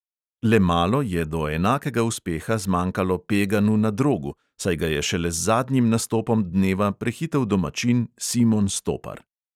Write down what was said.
Le malo je do enakega uspeha zmanjkalo peganu na drogu, saj ga je šele z zadnjim nastopom dneva prehitel domačin simon stopar.